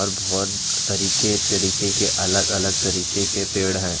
और बहुत तरीके-तरीके के अलग-अलग तरीके के पेड़ हैं।